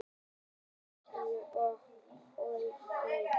Eldkeilur og eldhryggir.